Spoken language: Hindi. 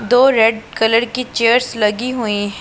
दो रेड कलर की चेयर्स लगी हुई--